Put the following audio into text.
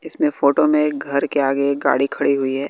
इसमें फोटो में एक घर के आगे एक गाड़ी खड़ी हुई है।